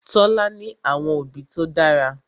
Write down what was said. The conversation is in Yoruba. Tola ní àwọn òbí tó dára.